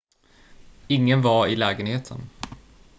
ingen var i lägenheten